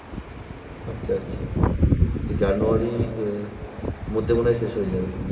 আচ্ছা আচ্ছা জানুয়ারি আহ মধ্যে মনে হয় শেষ হয়ে যাবে।